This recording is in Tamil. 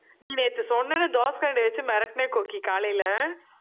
நீ நேத்து சொன்ன தோசை கரண்டி வச்சு மிரட்டுனேன் கோக்கி காலையில